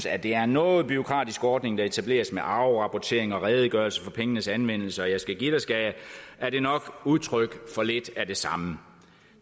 at det er en noget bureaukratisk ordning der etableres med afrapportering og redegørelse for pengenes anvendelse og jeg skal give dig skal jeg er det nok udtryk for lidt af det samme